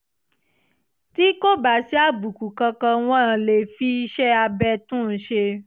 tí kò bá sí àbùkù kankan wọ́n lè fi iṣẹ́ abẹ tún un ṣe